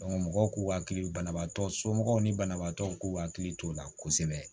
mɔgɔw k'u hakili banabaatɔ somɔgɔw ni banabaatɔw k'u hakili t'o la kosɛbɛ